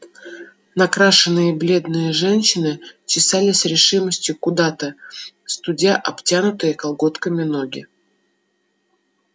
накрашенные бледные женщины чесали с решимостью куда-то студя обтянутые колготками ноги